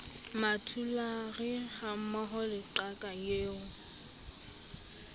mmathulare hammoho le qaka eo